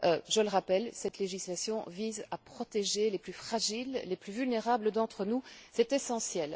Je le rappelle, cette législation vise à protéger les plus fragiles, les plus vulnérables d'entre nous, c'est essentiel.